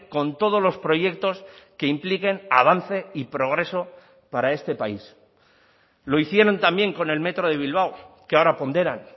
con todos los proyectos que impliquen avance y progreso para este país lo hicieron también con el metro de bilbao que ahora ponderan